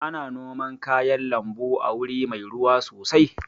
Ana noman kayan lambu a wuri mai ruwa sosai